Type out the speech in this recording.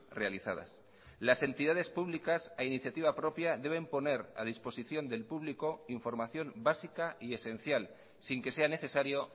realizadas las entidades públicas a iniciativa propia deben poner a disposición del público información básica y esencial sin que sea necesario